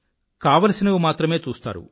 కావాల్సినవి మాత్రమే చూస్తారు